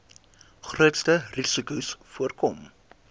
grootste risikos voorkom